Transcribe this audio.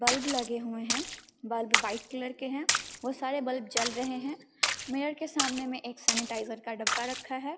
Bulb लगे हुए हैं बल्ब व्हाइट कलर के हैं और सारे बल्ब जल रहे हैं मिरर के सामने में एक सैनिटाइजर का डब्बा रखा है।